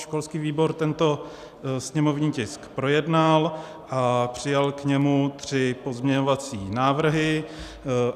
Školský výbor tento sněmovní tisk projednal a přijal k němu tři pozměňovací návrhy.